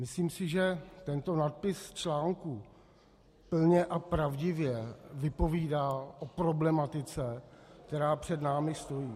Myslím si, že tento nadpis článku plně a pravdivě vypovídá o problematice, která před námi stojí.